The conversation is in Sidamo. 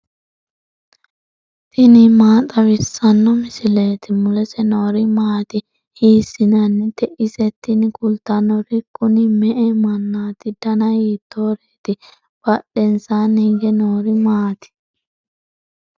tini maa xawissanno misileeti ? mulese noori maati ? hiissinannite ise ? tini kultannori kuni me''e mannaati dana hiittooreeti badhensanni hige noori maati